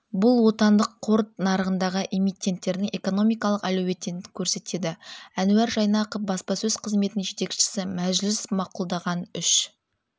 бұл отандық қор нарығындағы эмитенттердің экономикалық әлеуетін көрсетеді әнуар жайнақов баспасөз қызметінің жетекшісі мәжіліс мақұлдаған үш